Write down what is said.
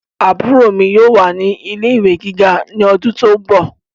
Àbúrò mi yóò wà ní ilé ìwé gíga ní ọdún tó ń bọ̀